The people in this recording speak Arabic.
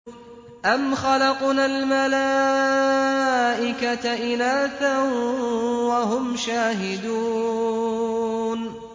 أَمْ خَلَقْنَا الْمَلَائِكَةَ إِنَاثًا وَهُمْ شَاهِدُونَ